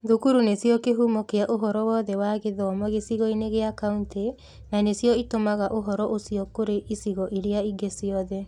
Thukuru nĩcio kĩhumo kĩa ũhoro wothe wa gĩthomo gĩcigo-inĩ gĩa county, na nĩcio itũmaga ũhoro ũcio kũrĩ icigo iria ingĩ ciothe.